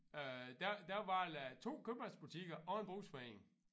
Øh der der var la 2 købmandsbutikker og en brugsforening